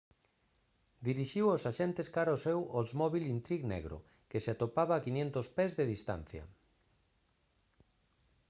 dirixiu aos axentes cara o seu oldsmobile intrigue negro que se atopaba a 500 pés de distancia